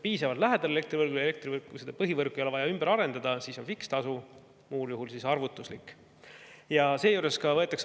Kui ollakse elektrivõrgule piisavalt lähedal ja põhivõrku ei ole vaja ümber arendada, siis on fikseeritud tasu, muul juhul arvutuslik.